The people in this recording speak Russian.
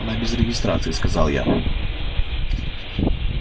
она без регистрации сказал я